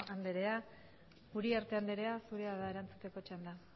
anderea uriarte anderea zurea da erantzuteko txanda